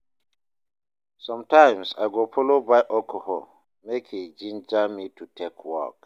somtimes I go follow buy alcohol mek e ginger me to take work